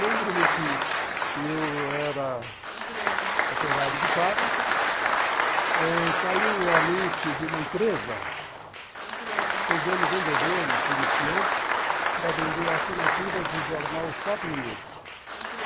Lembro-me que eu era operário de fábrica, saiu o anúncio de uma empresa pegando vendedores iniciantes para vender assinaturas do jornal Shopping News.